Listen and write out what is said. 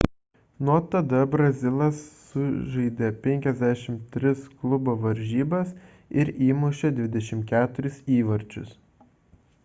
nuo tada brazilas sužaidė 53 klubo varžybas ir įmušė 24 įvarčius